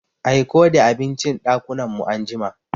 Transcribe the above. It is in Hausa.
Aiko the abincin ɗakunan mu anjima.